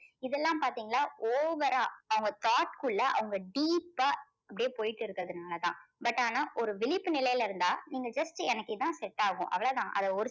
இதெல்லாம் பாத்தீங்களா over ஆ அவங்க thought குள்ள அவங்க deep ஆ அப்படியே போயிட்டு இருக்கிறதுனால தான் but ஆனா ஒரு விழிப்பு நிலையில் இருந்தா நீங்க just எனக்கு இதுதான் set ஆகும் அவ்வளவுதான் அந்த ஒரு